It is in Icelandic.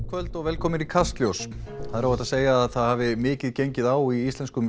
kvöld og velkomin í Kastljós það er óhætt að segja að það hafi mikið gengið á í íslenskum